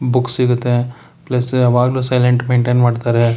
Book ಸಿಗುತ್ತೆ plus ಯಾವಾಗಲೂ silent maintain ಮಾಡ್ತಾರೆ.